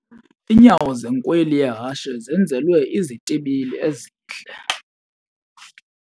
Iinyawo zenkweli yehashe zenzelwe izitibili ezihle.